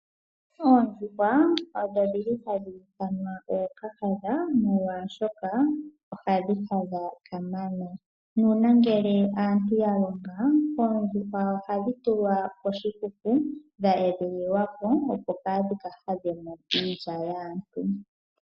Oondjuhwa odho dhili hadhi ithanwa ookahadha molwaashoka ohadhi hadha kamana. Nuuna ngele aantu yalonga oondjuhwa ohadhi tulwa koshikuku dha edhililwako kaadhi hadhe mo iilya yaantu.